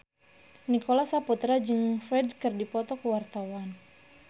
Nicholas Saputra jeung Ferdge keur dipoto ku wartawan